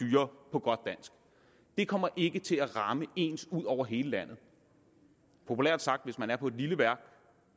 på godt dansk det kommer ikke til at ramme ens over hele landet populært sagt hvis man er på et lille værk